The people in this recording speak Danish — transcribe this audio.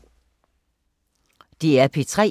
DR P3